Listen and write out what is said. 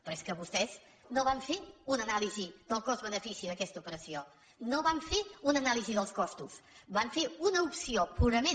però és que vostès no van fer una anàlisi del cost benefici d’aquesta operació no van fer una anàlisi dels costos van fer una opció purament